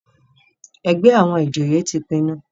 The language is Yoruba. ègbé àwọn ìjòyè tí pinnu.